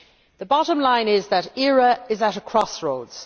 The bottom line is that ERA is at a crossroads.